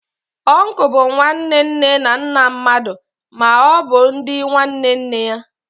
Uncle bụ nwanne nne na nna mmadụ, ma ọ bụ di nke nwanne nne ya.